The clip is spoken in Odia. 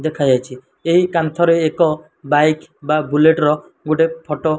ଦେଖା ଯାଉଚି ଏହି କାନ୍ଥରେ ଏକ ବାଇକ୍ ବା ବୁଲେଟ୍ ଗୁଟେ ଫଟ --